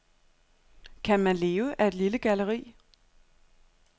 Kan man leve af et lille galleri?